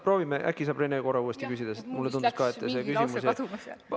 Proovime, äkki saab Rene uuesti küsida, sest mulle tundus ka, et see küsimus jäi ...